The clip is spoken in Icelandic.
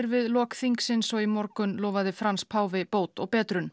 við lok þingsins og í morgun lofaði Frans páfi bót og betrun